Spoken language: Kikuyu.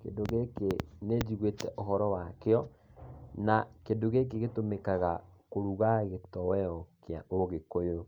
Kĩndũ gĩkĩ nĩ njiguĩte ũhoro wakĩo, na kĩndũ gĩkĩ gĩtũmĩkaga kũruga gĩtoero kĩa ũgĩkũyũ,